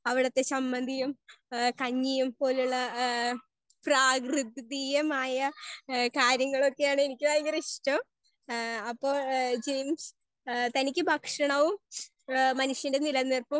Speaker 1 അവിടെത്തെ സമ്മന്തിയും കഞ്ഞിയും പോലുള്ള ഹേ പ്രകൃതീയമായ ഹേ കാര്യങ്ങളൊക്കെ യാണ് എനിക്ക് വളരെ ഇഷ്ട്ടം അപ്പൊ ഹേ ജെയിംസ് തനിക്ക് ഭക്ഷണവും മനുഷ്യന്റെ നിലനിൽപ്പും.